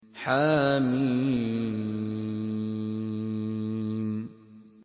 حم